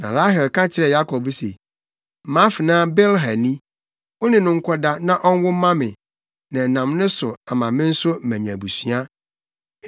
Na Rahel ka kyerɛɛ Yakob se, “Mʼafenaa Bilha ni, wo ne no nkɔda, na ɔnwo mma me, na ɛnam ne so ama me nso manya abusua.”